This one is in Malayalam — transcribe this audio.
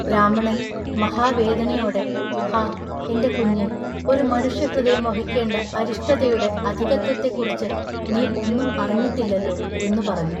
ബ്രാഹ്മണൻ മഹാ വേദനയൊടെ ഹാ എന്റെ കുഞ്ഞെഒരു മനുഷ്യഹൃദയം വഹിക്കെണ്ട അരിഷ്ടതയുടെ അധികത്വത്തെക്കുറിച്ചു നീ ഒന്നും അറിഞ്ഞിട്ടില്ലല്ലൊ" എന്നു പറഞ്ഞു.